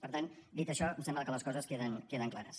per tant dit això em sembla que les coses queden clares